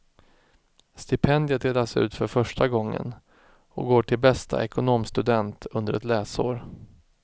Stipendiet delas ut för första gången och går till bästa ekonomstudent under ett läsår.